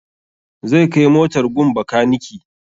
Zai kai motar gun bakaniki